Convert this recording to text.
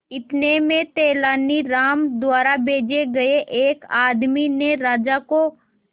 इतने में तेनालीराम द्वारा भेजे गए एक आदमी ने राजा को